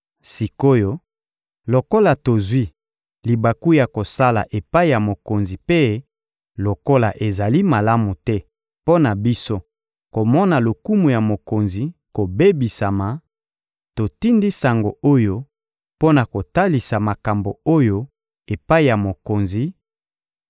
Sik’oyo, lokola tozwi libaku ya kosala epai ya mokonzi mpe lokola ezali malamu te mpo na biso komona lokumu ya mokonzi kobebisama, totindi sango oyo mpo na kotalisa makambo oyo epai ya mokonzi